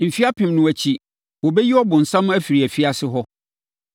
Mfeɛ apem no akyi, wɔbɛyi ɔbonsam afiri afiase hɔ;